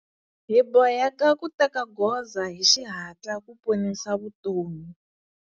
Hi boheke ku teka goza hi xihatla ku ponisa vutomi.